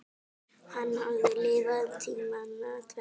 Hann hafði lifað tímana tvenna.